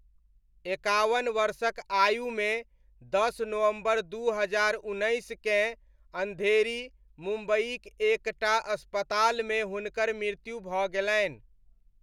एकावन वर्षक आयुमे दस नवंबर दू हजार उन्नैसकेँ अन्धेरी, मुम्बइक एक टा अस्पतालमे हुनकर मृत्यु भऽ गेलनि।